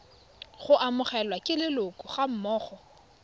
go amogelwa ke leloko gammogo